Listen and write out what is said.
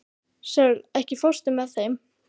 Sörli, ekki fórstu með þeim?